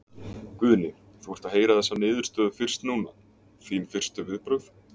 Guðni, þú ert að heyra þessa niðurstöðu fyrst núna, þín fyrstu viðbrögð?